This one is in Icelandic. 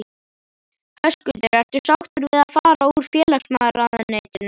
Höskuldur: Ertu sátt við það að fara úr félagsmálaráðuneytinu?